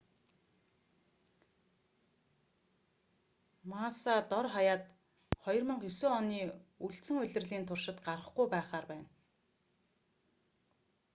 масса дор хаяад 2009 оны үлдсэн улирлын туршид гарахгүй байхаар байна